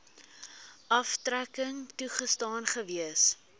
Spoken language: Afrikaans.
aftrekking toegestaan gewees